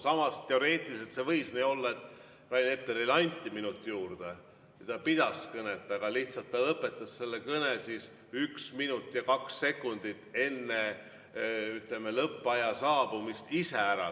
Samas, teoreetiliselt see võis nii olla, et Rain Eplerile anti minuti juurde ja ta pidas kõnet, aga lihtsalt ta lõpetas selle kõne üks minut ja kaks sekundit enne lõppaja saabumist ise ära.